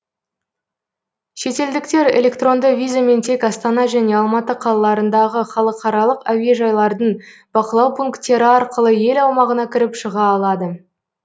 шетелдіктер электронды визамен тек астана және алматы қалаларындағы халықаралық әуежайлардың бақылау пункттері арқылы ел аумағына кіріп шыға алады